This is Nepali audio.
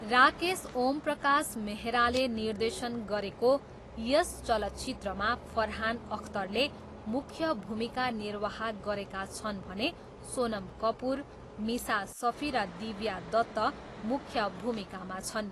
राकेश ओमप्रकाश मेहराले निर्देशन गरेको यस चलचित्रमा फरहान अख्तरले मुख्य भूमिका निर्वाह गरेका छन् भने सोनम कपुर, मिसा सफी र दिव्या दत्त मुख्य भूमिकामा छन्।